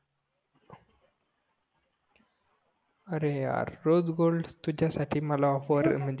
अरे error rose gold तुझ्यासाठी मला ऑफेर